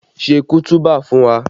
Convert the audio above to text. Ṣe kutuba fún wa!